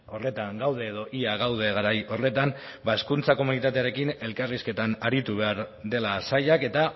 horretan gaude edo ia gaude garai horretan ba hezkuntza komunitatearekin elkarrizketan aritu behar dela sailak eta